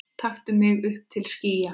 taktu mig upp til skýja